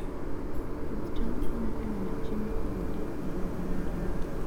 Pidh cham konyo e miyo chiemo obedie e higa mangima.